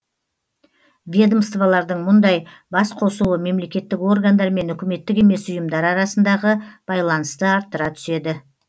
ведомствалардың мұндай басқосуы мемлекеттік органдар мен үкіметтік емес ұйымдар арасындағы байланысты арттыра түседі